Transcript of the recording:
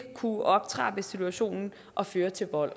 kunne optrappe situationen og føre til vold